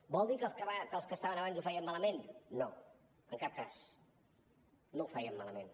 vol dir que els que estaven abans ho feien malament no en cap cas no ho feien malament